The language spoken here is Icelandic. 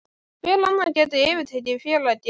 Hver annar gæti yfirtekið félagið?